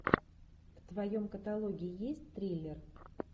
в твоем каталоге есть триллер